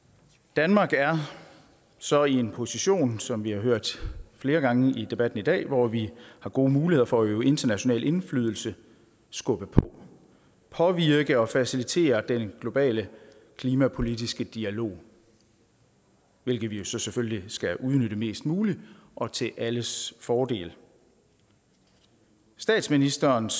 danmark er så i en position som vi har hørt det flere gange i debatten i dag hvor vi har gode muligheder for at øve international indflydelse skubbe på påvirke og facilitere den globale klimapolitiske dialog hvilket vi jo så selvfølgelig skal udnytte mest muligt og til alles fordel statsministerens